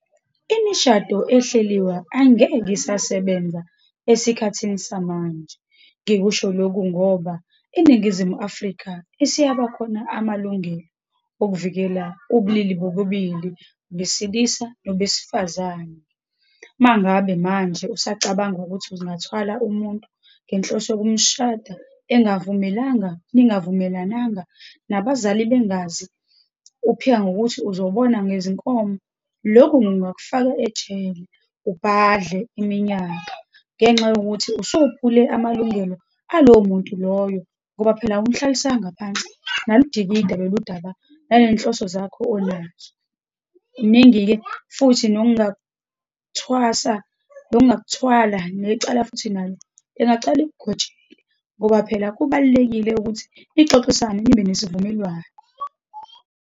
Imishado ehleliwe angeke isasebenza esikhathini samanje. Ngikusho lokhu ngoba eNingizimu Afrika isiyabakhona amalungelo okuvikela ubulili bobubili, besilisa nobesifazane. Uma ngabe manje usacabanga ukuthi ungathwala umuntu ngenhloso yokumshada engavumelanga, ningavumelananga, nabazali bengazi, uphika ngokuthi uzobona ngezinkomo. Lokhu kungakufaka ejele, ubhadle iminyaka, ngenxa yokuthi usuphule amalungelo alowo muntu loyo, ngoba phela awumhlalisanga phansi, naludikida loludaba, nanenhloso zakho onazo. Kuningi-ke futhi nongakuthwasa, nongakuthwala, necala futhi nalo lingacala likugojele, ngoba phela kubalulekile ukuthi nixoxisane, nibe nesivumelwano.